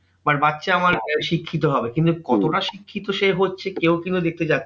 But বাচ্চা আমার শিক্ষিত হবে কিন্তু কতটা শিক্ষিত সে হচ্ছে কেউ কিন্তু দেখতে যাচ্ছে না।